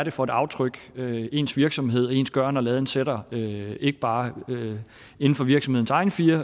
er for et aftryk ens virksomhed og ens gøren og laden sætter ikke ikke bare inden for virksomhedens egne fire